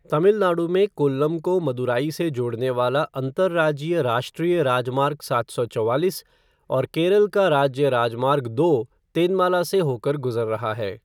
तमिलनाडु में कोल्लम को मदुराई से जोड़ने वाला अंतरराज्यीय राष्ट्रीय राजमार्ग सात सौ चौवालीस और केरल का राज्य राजमार्ग दो तेनमाला से होकर गुजर रहा है।